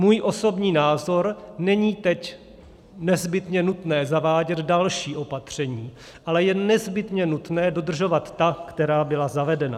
Můj osobní názor: není teď nezbytně nutné zavádět další opatření, ale je nezbytně nutné dodržovat ta, která byla zavedena.